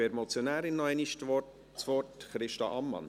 Ich gebe der Motionärin noch einmal das Wort, Christa Ammann.